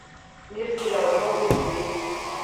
мир сериала новые серии